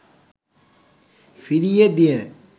ফিরিয়ে দিয়ে